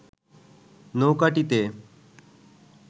নৌকাটিতে